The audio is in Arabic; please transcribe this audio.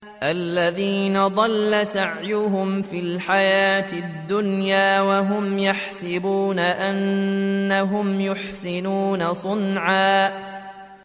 الَّذِينَ ضَلَّ سَعْيُهُمْ فِي الْحَيَاةِ الدُّنْيَا وَهُمْ يَحْسَبُونَ أَنَّهُمْ يُحْسِنُونَ صُنْعًا